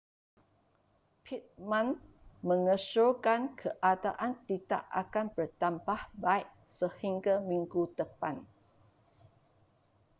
pittman mengesyorkan keadaan tidak akan bertambah baik sehingga minggu depan